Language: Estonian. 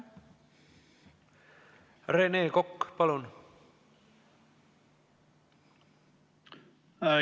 Rene Kokk, palun!